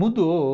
Mudou.